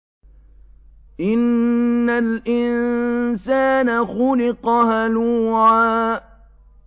۞ إِنَّ الْإِنسَانَ خُلِقَ هَلُوعًا